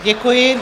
Děkuji.